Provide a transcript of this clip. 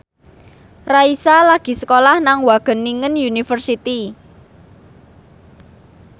Raisa lagi sekolah nang Wageningen University